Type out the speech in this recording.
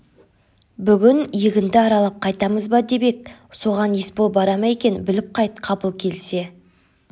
бүгін егінді аралап қайтамыз ба деп ек соған есбол бара ма екен біліп қайт қабыл келсе